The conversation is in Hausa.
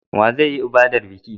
Wa zai yi ibadar biki?